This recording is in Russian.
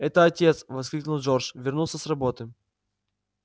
это отец воскликнул джордж вернулся с работы